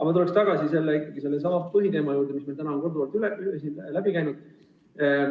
Ma tulen tagasi sellesama põhiteema juurde, mis meil täna on korduvalt läbi käinud.